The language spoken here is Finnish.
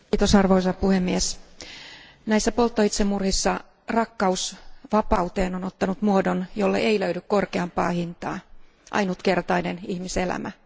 Arvoisa puhemies, näissä polttoitsemurhissa rakkaus vapauteen on ottanut muodon, jolle ei löydy korkeampaa hintaa ainutkertainen ihmiselämä.